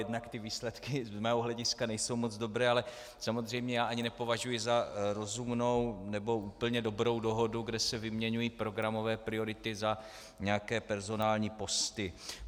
Jednak ty výsledky z mého hlediska nejsou moc dobré, ale samozřejmě já ani nepovažuji za rozumnou nebo úplně dobrou dohodu, kde se vyměňují programové priority za nějaké personální posty.